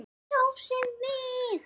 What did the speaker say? Kjósið mig!